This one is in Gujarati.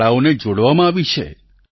શાળાઓને જોડવામાં આવી છે